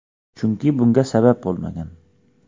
Chunki bunga sabab bo‘lmagan.